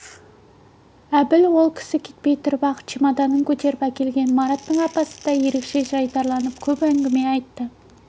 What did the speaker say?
әбіл ол кісі кетпей тұрып-ақ чемоданын көтеріп әкелген мараттың апасы да ерекше жайдарыланып көп әңгіме айтты